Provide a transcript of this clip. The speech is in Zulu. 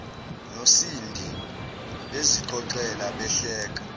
nosindi bezixoxela behleka